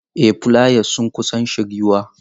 Ee fulayas sun kusan shiryuwa.